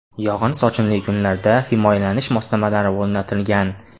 Yog‘in-sochinli kunlarda himoyalanish moslamalari o‘rnatilgan.